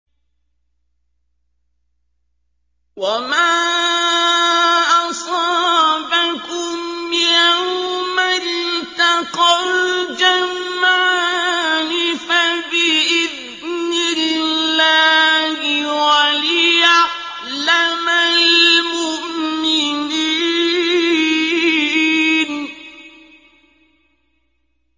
وَمَا أَصَابَكُمْ يَوْمَ الْتَقَى الْجَمْعَانِ فَبِإِذْنِ اللَّهِ وَلِيَعْلَمَ الْمُؤْمِنِينَ